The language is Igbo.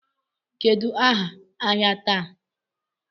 Kedụ áhà ahịa taa?